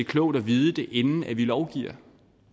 klogt at vide det inden vi lovgiver